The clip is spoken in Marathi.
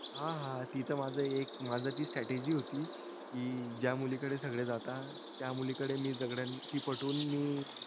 हा हा ती त माझ एक माझ ती strategy होती कि ज्या मुलीकडे सगळे जाता त्या मुलीकडे मी सगळ्यांनी ती पटून मी